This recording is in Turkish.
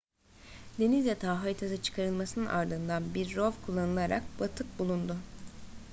deniz yatağı haritası çıkarılmasının ardından bir rov kullanılarak batık bulundu